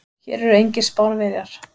Hér eru engir Spánverjar.